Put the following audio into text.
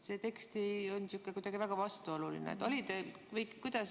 See tekst on kuidagi väga vastuoluline.